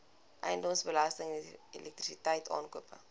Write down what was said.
eiendomsbelasting elektrisiteit aankope